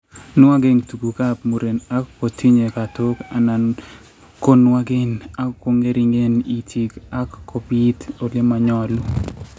Nwogen tuguuk ap muren ak ko tinyei katook, anan konwagen, ak kong'ering'en itiik, ak kobiit ole ma nyolu.